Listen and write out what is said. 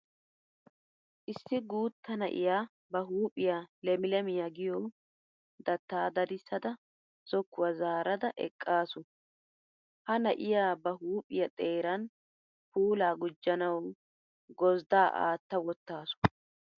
Issi guutta na'iya ba huuphiya lemilemiya giyo dattaa dadissada zokkuwa zaarada eqqaasu. Ha na'iya ba huuphiya xeeran puulaa gujjanawu gozddaa aatta wottaasu.